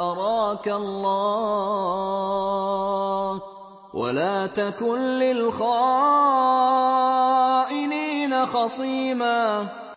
أَرَاكَ اللَّهُ ۚ وَلَا تَكُن لِّلْخَائِنِينَ خَصِيمًا